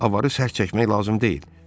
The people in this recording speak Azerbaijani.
Avarı sərt çəkmək lazım deyil.